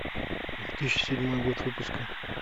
две тысячи седьмой год выпуска